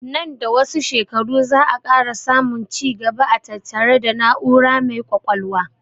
Nan da wasu shekaru za 'a ƙara samun ci gaba a tattare da na'ura mai ƙwaƙwalwa